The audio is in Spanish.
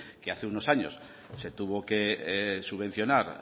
que hace unos años se tuvo que subvencionar